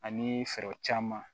Ani fɛɛrɛ caman